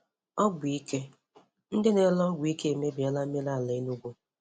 Ogwọ ike: Ndị na-ere ọgwụ ike emebiela mmiri ala Enugwu.